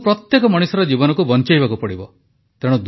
ଆମକୁ ପ୍ରତ୍ୟେକ ମଣିଷର ଜୀବନକୁ ବଂଚେଇବାକୁ ପଡ଼ିବ